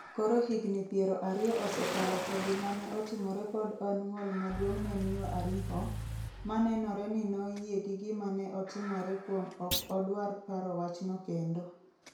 Koro higni piero ariyo osekalo to gima ne otimore pod en ng’ol maduong’ ne Miyo Ariho, ma nenore ni noyie gi gima ne otimore kuom ok odwar paro wachno kendo.